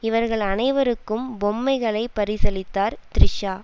இவர்கள் அனைவருக்கும் பொம்மைகளை பரிசளித்தார் த்ரிஷா